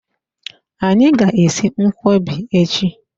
Anyị ga-esi nkwọbi echi.